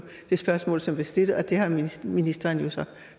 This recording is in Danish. det spørgsmål som blev stillet og det har ministeren jo så